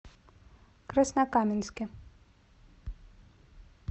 краснокаменске